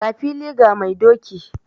Ga fili ga mai doki.